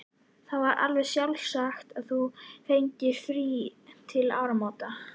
Það var alveg sjálfsagt að þú fengir frí til áramóta.